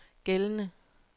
gældende